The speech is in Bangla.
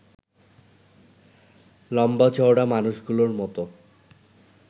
লম্বা-চওড়া মানুষগুলোর মতো